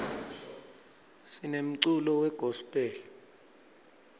sinemculo we gospel